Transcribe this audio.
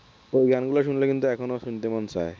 ওই গানগুলো শুনলে কিন্তু এখনো শুনতে মন চায়